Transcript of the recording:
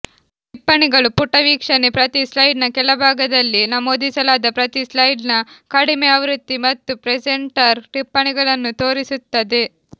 ಟಿಪ್ಪಣಿಗಳು ಪುಟ ವೀಕ್ಷಣೆ ಪ್ರತಿ ಸ್ಲೈಡ್ನ ಕೆಳಭಾಗದಲ್ಲಿ ನಮೂದಿಸಲಾದ ಪ್ರತಿ ಸ್ಲೈಡ್ನ ಕಡಿಮೆ ಆವೃತ್ತಿ ಮತ್ತು ಪ್ರೆಸೆಂಟರ್ ಟಿಪ್ಪಣಿಗಳನ್ನು ತೋರಿಸುತ್ತದೆ